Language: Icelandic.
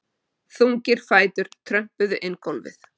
Þungir fætur trömpuðu inn gólfið.